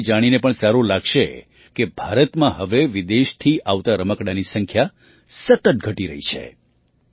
તમને એ જાણીને પણ સારું લાગશે કે ભારતમાં હવે વિદેશથી આવતાં રમકડાંની સંખ્યા સતત ઘટી રહી છે